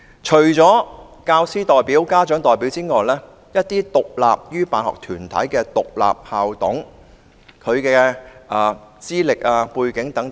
除教員校董、家長校董外，政府應提供更多指引，以規範獨立於辦學團體的獨立校董的資歷、背景等。